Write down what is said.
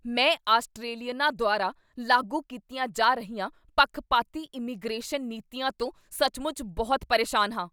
ਮੈਂ ਆਸਟ੍ਰੇਲੀਅਨਾਂ ਦੁਆਰਾ ਲਾਗੂ ਕੀਤੀਆਂ ਜਾ ਰਹੀਆਂ ਪੱਖਪਾਤੀ ਇਮੀਗ੍ਰੇਸ਼ਨ ਨੀਤੀਆਂ ਤੋਂ ਸੱਚਮੁੱਚ ਬਹੁਤ ਪਰੇਸ਼ਾਨ ਹਾਂ।